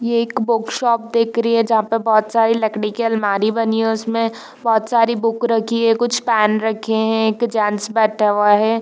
ये एक बुक_शॉप दिक रही है जहाँ पे बोहत सारी लकड़ी की अलमारी बनी हैं उसमें बोहत सारी बुक रखी हैं कुछ पैन रखे हैं एक जेन्ट्स बैठा हुआ है।